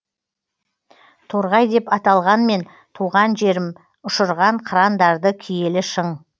торғай деп аталғанмен туған жерім ұшырған қырандарды киелі шың